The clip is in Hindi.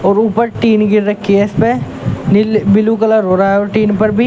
ऊपर टीन गिर रखी है इसमें नील ब्लू कलर हो रहा है और टीन पर भी।